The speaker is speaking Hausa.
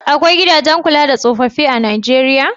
Akwai gidajen kula da tsofaffi a Nijeriya?